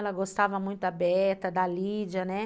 Ela gostava muito da Beta, da Lídia, né?